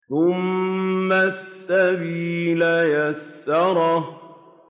ثُمَّ السَّبِيلَ يَسَّرَهُ